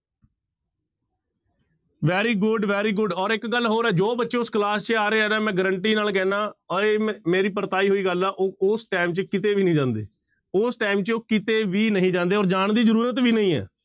Very good, very good ਔਰ ਇੱਕ ਗੱਲ ਹੋਰ ਹੈ ਜੋ ਬੱਚੇ ਉਸ class ਚ ਆ ਰਹੇ ਹੈ ਨਾ ਮੈਂ guarantee ਨਾਲ ਕਹਿਨਾ ਔਰ ਇਹ ਮ ਮੇਰੀ ਪਰਤਾਈ ਹੋਈ ਗੱਲ ਆ ਉਹ ਉਸ time ਚ ਕਿਤੇ ਵੀ ਨੀ ਜਾਂਦੇ, ਉਸ time ਚ ਉਹ ਕਿਤੇ ਵੀ ਨਹੀਂ ਜਾਂਦੇ ਔਰ ਜਾਣ ਦੀ ਜ਼ਰੂਰਤ ਵੀ ਨਹੀਂ ਹੈ।